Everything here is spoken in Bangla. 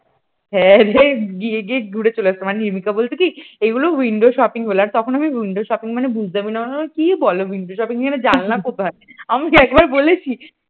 হ্যাঁরে গিয়ে গিয়ে ঘুরে চলে আসতাম মানে রিম্পা বলতো কি এইগুলো windows shopping বলে তখন আমি windows shopping মানে বুঝতামই না। মানে কি বলে windows shopping বলে আমি জানলা কোথায় আমি কি একবার বলেছি ।